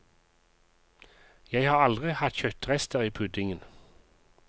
Jeg har aldri hatt kjøttrester i puddingen.